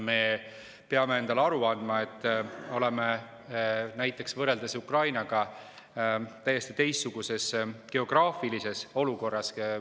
Me peame endale aru andma, et oleme näiteks Ukrainaga võrreldes täiesti teistsuguses geograafilises olukorras.